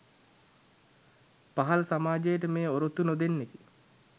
පහළ සමාජයට මෙය ඔරොත්තු නොදෙන්නකි